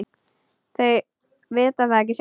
Þau vita það ekki sjálf.